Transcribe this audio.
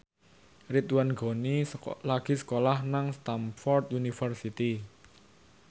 Ridwan Ghani lagi sekolah nang Stamford University